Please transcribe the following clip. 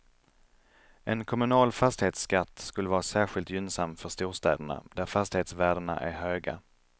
En kommunal fastighetsskatt skulle vara särskilt gynnsam för storstäderna, där fastighetsvärdena är höga.